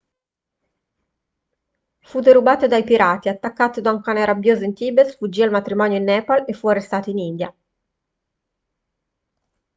fu derubato dai pirati attaccato da un cane rabbioso in tibet sfuggì al matrimonio in nepal e fu arrestato in india